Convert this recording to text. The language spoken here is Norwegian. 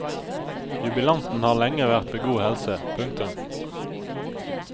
Jubilanten har lenge vært ved god helse. punktum